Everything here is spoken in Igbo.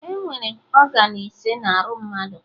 Enwere ọgan ise na arụ mmadụ